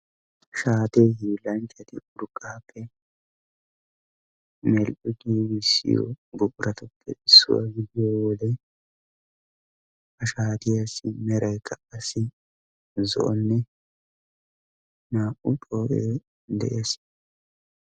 Shaate hiilanchchati urqqappe mell"i giigissiyo buquratuppe issuwa gidiyo wode ha shaatiyassi meraykka qassi zo'onne naa"u xoo'e de'ees.